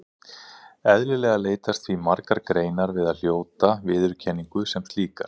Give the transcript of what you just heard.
Eðlilega leitast því margar greinar við að hljóta viðurkenningu sem slíkar.